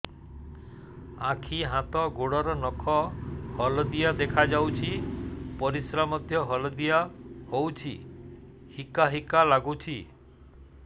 ଆଖି ହାତ ଗୋଡ଼ର ନଖ ହଳଦିଆ ଦେଖା ଯାଉଛି ପରିସ୍ରା ମଧ୍ୟ ହଳଦିଆ ହଉଛି ହିକା ହିକା ଲାଗୁଛି